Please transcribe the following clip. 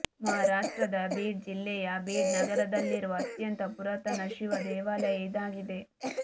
ಮಹಾರಾಷ್ಟ್ರದ ಬೀಡ್ ಜಿಲ್ಲೆಯ ಬೀಡ್ ನಗರದಲ್ಲಿರುವ ಅತ್ಯಂತ ಪುರಾತನ ಶಿವ ದೇವಾಲಯ ಇದಾಗಿದೆ